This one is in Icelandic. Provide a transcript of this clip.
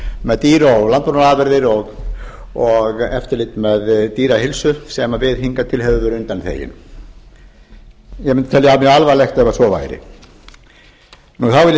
með dýr og landbúnaðarafurðir og eftirlit með dýraheilsu sem við hingað til höfum verið undanþegin ég mundi telja það mjög alvarlegt ef svo væri þá